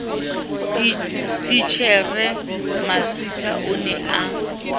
titjhere masitha o ne a